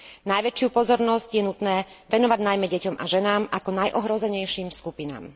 Najväčšiu pozornosť je nutné venovať najmä deťom a ženám ako najohrozenejším skupinám.